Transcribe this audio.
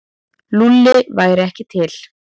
Lúlli væri ekki til.